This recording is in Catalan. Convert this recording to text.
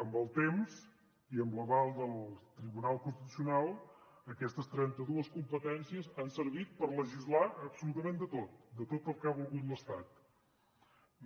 amb el temps i amb l’aval del tribunal constitucional aquestes trenta dues competències han servit per legislar absolutament de tot de tot el que ha volgut l’estat